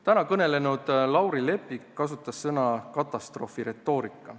Täna kõnelenud Lauri Leppik kasutas sõna "katastroofiretoorika".